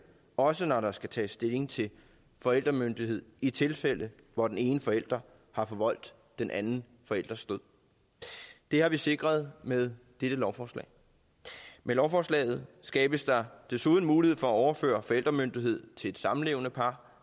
også når der skal tages stilling til forældremyndighed i tilfælde hvor den ene forælder har forvoldt den anden forælders død det har vi sikret med dette lovforslag med lovforslaget skabes der desuden mulighed for at overføre forældremyndigheden til et samlevende par